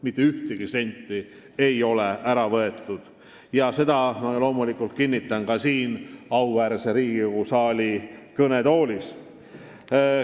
Mitte ühtegi senti ei ole ära võetud ja seda ma kinnitan teile ka siin, auväärse Riigikogu saali kõnetoolis.